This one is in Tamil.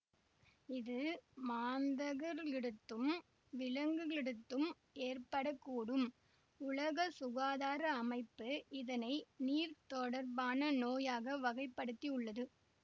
இது மாந்தர்களிடத்தும் விலங்குகளிடத்தும் ஏற்பட கூடும் உலக சுகாதார அமைப்பு இதனை நீர் தொடர்பான நோயாக வகைப்படுத்தி உள்ளது